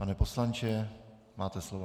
Pane poslanče, máte slovo.